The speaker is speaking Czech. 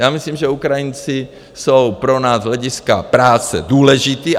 Já myslím, že Ukrajinci jsou pro nás z hlediska práce důležití.